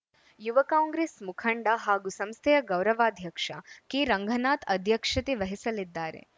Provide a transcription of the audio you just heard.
ಯುವ ಕಾಂಗ್ರೆಸ್‌ ಮುಖಂಡ ಹಾಗೂ ಸಂಸ್ಥೆಯ ಗೌರವಾಧ್ಯಕ್ಷ ಕೆ ರಂಗನಾಥ್‌ ಅಧ್ಯಕ್ಷತೆ ವಹಿಸಲಿದ್ದಾರೆ